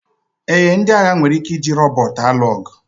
Ee, ndị agha nwere ike iji rọbọt alụ ọgụ